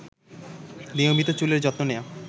নিয়মিত চুলের যত্ন নেয়া